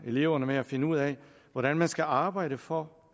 eleverne med at finde ud af hvordan man skal arbejde for